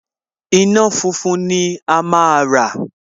Iná funfun ni a máa rà